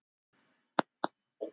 Hvað kom inn?